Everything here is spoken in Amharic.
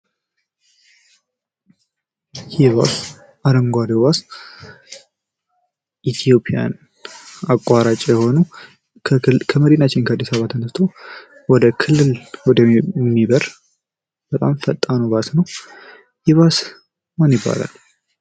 ይህ ባስ አረንጓዴ ባስ ኢትዮጵያን አቋራጭ የሆነ ከመድናችን አድስ አበባ ተነስቶ ወደ ክልል የሚበር በጣም ፈጣኑ ባስ ነው። ይህ ባስ ምን ይባላል?